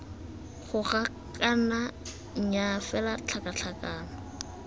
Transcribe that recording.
goga kana nnyaa fela tlhakatlhakano